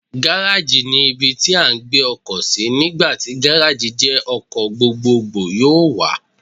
Gárájì ni ibi tí à ń gbé ọkọ̀ sí, nígbà tí Gárájì jẹ́ ọkọ̀ gbogbogbò yóò wà.